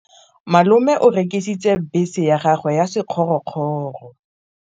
Malome o rekisitse bese ya gagwe ya sekgorokgoro.